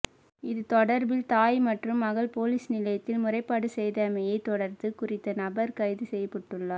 இது தொடர்பில் தாய் மற்றும் மகள் பொலிஸ் நிலையத்தில் முறைப்பாடு செய்தமையை தொடர்து குறித்த நபர் கைது செய்யப்பட்டுள்ளார்